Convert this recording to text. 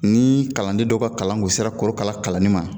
Nii kalanden dɔw ka kalan kun sera korokara kalanni ma